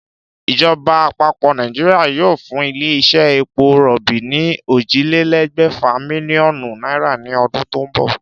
Ìjoba àpapò Nàìjíríà yóò fún ilé isé epo ròbì ní ójìlélé̩gbè̩fà mílíó̩nù náírà ni o̩dún tó n bò̩